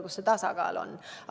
Kus see tasakaal on?